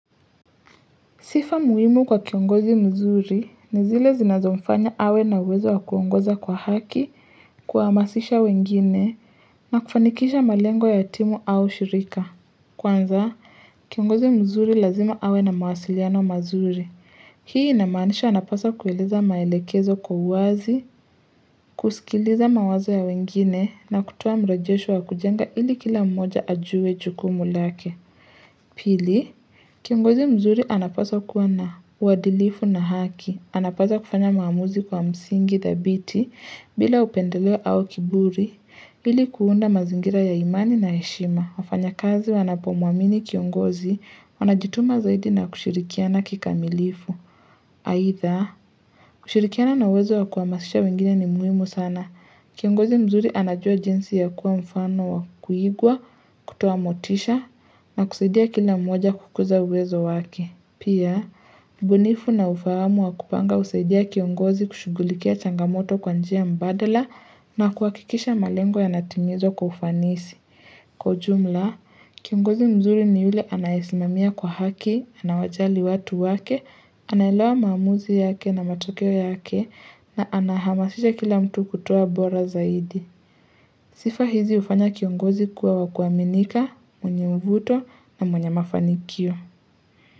Sifa muhimu kwa kiongozi mzuri ni zile zinazomfanya awe na uwezo wa kuongoza kwa haki kuhamasisha wengine na kufanikisha malengo ya timu au shirika kwanza kiongozi mzuri lazima awe na mawasiliano mazuri, hii inamaanisha anapaswa kueleza maelekezo kwa uwazi kusikiliza mawazo ya wengine na kutuoa mrojesho wa kujenga ili kila mmoja ajue jukumu lake pili, Kiongozi mzuri anapaswa kuwa na uadilifu na haki, anapaswa kufanya maamuzi kwa msingi thabiti bila upendeleo au kiburi, ili kuunda mazingira ya imani na heshima, wafanyakazi wanapomuamini kiongozi wanajituma zaidi na kushirikiana kikamilifu. Aidha. Ushirikiana na wezo wa kuhamasisha wengine ni muhimu sana. Kiongozi mzuri anajua jinsi ya kuwa mfano wa kuigwa, kutoa motisha na kusaidia kila mmoja kukuza uwezo wake. Pia, ubunifu na ufahamu wa kupanga husaidia kiongozi kushugulikia changamoto kwa njia mbadala, na kuhakikisha malengo yanatimizwa kwa ufanisi. Kwa ujumla, kiongozi mzuri ni yule anayesimamia kwa haki, anawajali watu wake, anaelewa maamuzi yake na matokeo yake na anahamasisha kila mtu kutwa bora zaidi. Sifa hizi hufanya kiongozi kuwa wa kuaminika, mwenye mvuto na mwenye mafanikio.